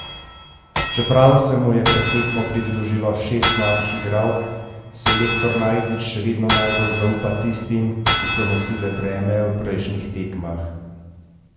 Čeprav se mu je pred tekmo pridružilo šest novih igralk, selektor Najdič še vedno najbolj zaupa tistim, ki so nosile breme na prejšnjih tekmah.